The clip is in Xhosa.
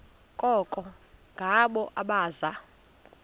koko ngabo abaza